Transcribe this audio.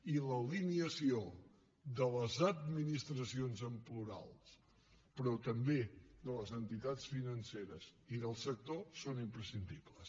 i l’alineació de les administracions en plural però també de les entitats financeres i del sector són imprescindibles